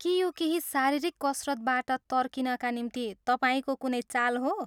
के यो केही शारीरिक कसरतबाट तर्किनका निम्ति तपाईँको कुनै चाल हो?